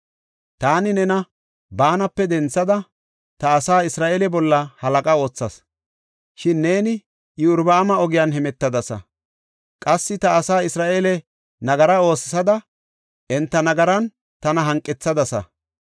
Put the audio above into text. “Taani nena baanape denthada ta asaa Isra7eele bolla halaqa oothas; shin neeni Iyorbaama ogiyan hemetadasa. Qassi ta asaa Isra7eele nagara oosisada enta nagaran tana hanqethadasa.